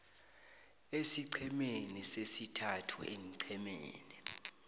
esiqhemeni sesithathu eenqhemeni